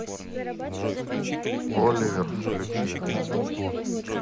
оливер включи